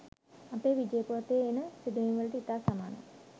අපේ විජය පුවතේ එන සිදුවීම්වලට ඉතා සමානයි